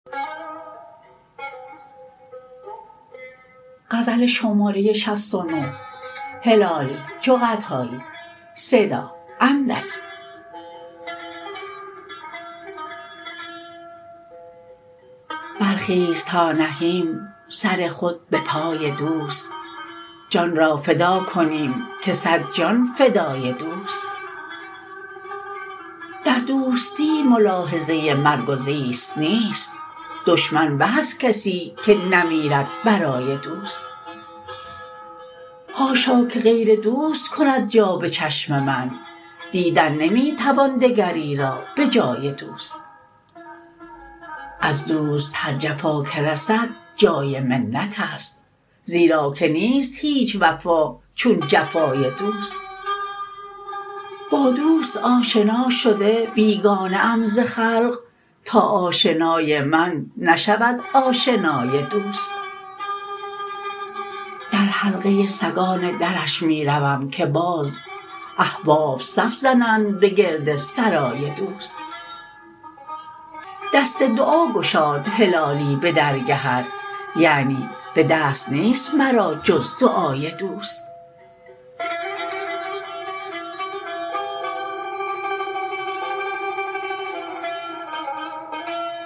برخیز تا نهیم سر خود بپای دوست جان را فدا کنیم که صد جان فدای دوست در دوستی ملاحظه مرگ و زیست نیست دشمن به از کسی که نمیرد برای دوست حاشا که غیر دوست کند جا بچشم من دیدن نمیتوان دگری را بجای دوست از دوست هر جفا که رسد جای منتست زیرا که نیست هیچ وفا چون جفای دوست با دوست آشنا شده بیگانه ام ز خلق تا آشنای من نشود آشنای دوست در حلقه سگان درش می روم که باز احباب صف زنند بگرد سرای دوست دست دعا گشاد هلالی بدرگهت یعنی بدست نیست مرا جز دعای دوست